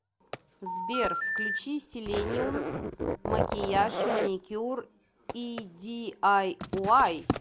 сбер включи селениюм макияж маникюр и ди ай уай